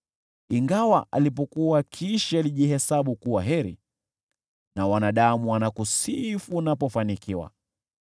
Ingawa alipokuwa akiishi alijihesabu kuwa heri, na wanadamu wanakusifu unapofanikiwa,